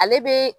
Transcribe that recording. Ale be